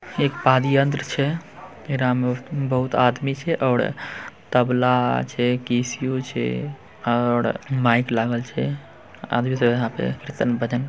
एक पाद यंत्र छे एकरा में बहुत आदमी छे और तबला छे किस्यु छे और माइक लागल छे। आदमी सब यहाँ पर कीर्तन-भजन --